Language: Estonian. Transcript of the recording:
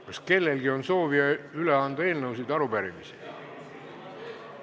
Kas kellelgi on soovi üle anda eelnõusid ja arupärimisi?